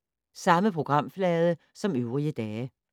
Samme programflade som øvrige dage